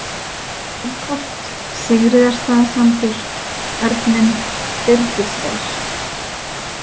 Þingholt, Sigríðarstaðasandur, Örninn, Byrgisver